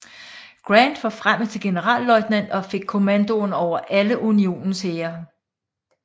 Grant forfremmet til generalløjtnant og fik kommandoen over alle Unionens hære